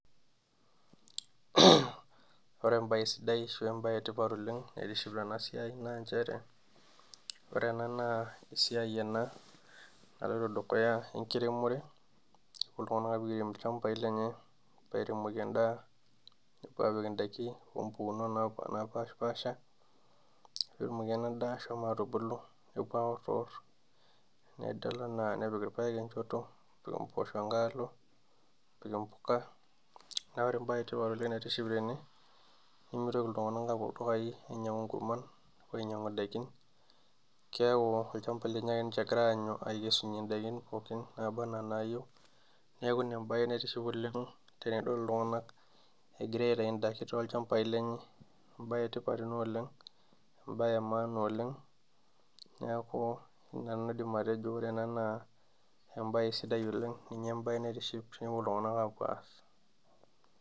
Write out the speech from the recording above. Ore embaye sidai ashu embaye e tipat oleng' naitiship tena siai naa nchere, ore ena naa esiai ena naloito dukuya enkiremore ooltung'anak oogira airem ilchambai lenye airemoki endaa nepuo aapik ndaikin oo mpukunot napa napaashipaasha peetumoki ena daa ashomo atubulu, nepuo aworiwor nidol enaa nepik irpaek enchoto nepik mboosho enkae alo nepik mpuka. Neeku ore embaye e tipat oleng' naitiship tene, nemitoki iltung'anak aapuo ildukai ainyang'u nkurman, nepuo ainyang'u ndaikin keeku olchamba lenye ake nche egira aanyu aikesunye ndaikin pookin naaba naa naayeu. Neeku ina embaye naitiship oleng' to tenidol iltung'anak egira aitayu ndaikin toolchambai lenye, embaye e tipat ena oleng', embaye e maana oleng' neeku ina nanu aidim atejo ore ena naa embaye sidai oleng' ninye embaye naitiship tenepuo iltung'anak aapuo aas.